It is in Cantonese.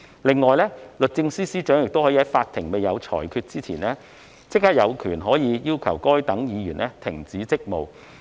另外，律政司司長可在法庭有裁決前，有權要求該等議員停止職務。